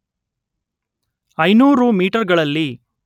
ಐನೂರು ಮೀಟರ್‌ಗಳಲ್ಲಿ